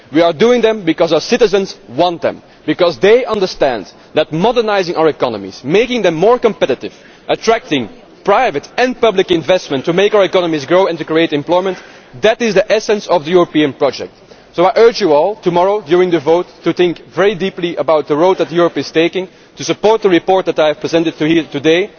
we are doing them because our citizens want them, because they understand that modernising our economies, making them more competitive, attracting private and public investment to make our economies grow and to create employment is the essence of the European project. I urge you all tomorrow during the vote to think very deeply about the road that Europe is taking and to support the report that I have presented here today.